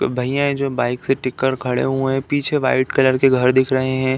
भैया हैं जो बाइक से टिक कर खड़े हुए हैं। पीछे व्हाइट कलर के घर दिख रहे हैं।